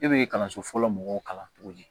E bɛ kalanso fɔlɔ mɔgɔw kalan cogo di